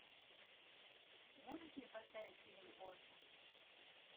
можешь мне поставить фильм босс